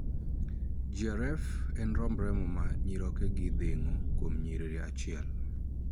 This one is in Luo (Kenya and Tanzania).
GRF' en romb remo ma nyirokegi dhing'o kuom nyiriri achiel